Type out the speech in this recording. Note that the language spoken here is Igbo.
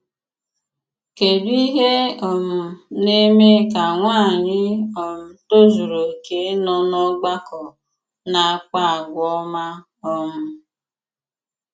kedụ ìhé um na-eme kà nwànyị̀ um tòzùrù okè nọ n'ọ̀gbàkọ na-àkpà àgwà òma! um